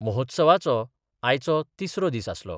महोत्सवाचो आयचो तिसरो दीस आसलो.